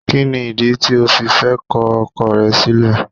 Kíni ìdí tí o fi fẹ́ ko ọkọ rẹ sílè